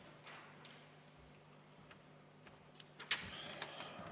Palun!